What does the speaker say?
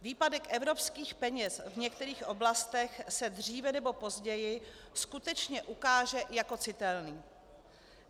Výpadek evropských peněz v některých oblastech se dříve nebo později skutečně ukáže jako citelný.